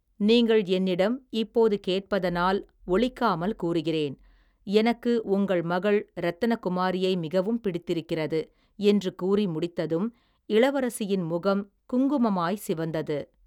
நீங்கள் என்னிடம், இப்போது கேட்பதனால், ஒளிக்காமல் கூறுகிறேன், எனக்கு உங்கள் மகள் இரத்தினகுமாரியை மிகவும் பிடித்திருக்கிறது, என்று கூறி முடித்ததும், இளவரசியின் முகம், குங்குமமாய் சிவந்தது.